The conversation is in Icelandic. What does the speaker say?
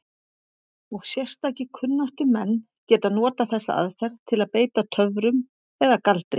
Og sérstakir kunnáttumenn geta notað þessa aðferð til að beita töfrum eða galdri.